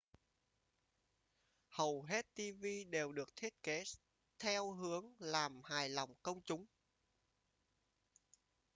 hầu hết tv đều được thiết kế theo hướng làm hài lòng công chúng